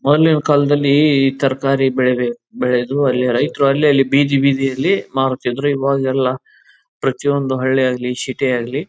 ಮೊದ್ಲಿನ್ ಕಾಲದಲ್ಲಿ ಈ ತರಕಾರಿ ಬೆಳಿಬೆಕ್ ಬೆಳೆದು ಅಲ್ಲೇ ರೈತರು ಅಲ್ಲೇ ಅಲ್ಲೇ ಬೀದಿ ಬೀದಿಯಲ್ಲಿ ಮಾರುತಿದ್ರು ಇವಾಗ ಎಲ್ಲ ಪ್ರತಿ ಒಂದು ಹಳ್ಳಿಯಾಗಲಿ ಸಿಟಿ ಯಾಗಲಿ.